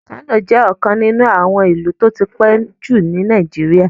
Kano jẹ ọkan nínu àwọn ìlú ti o tí pẹ ju ni Naijiria